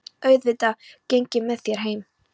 Auðvitað geng ég með þér heim